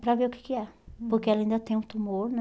Para ver o que que é. Hum. Porque ela ainda tem um tumor, né?